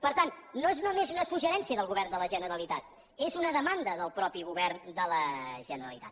per tant no és només un suggeriment del govern de la generalitat és una demanda del mateix govern de la generalitat